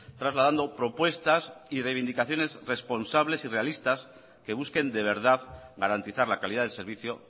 trasladando propuestas y reivindicaciones responsables y realistas que busquen de verdad garantizar la calidad del servicio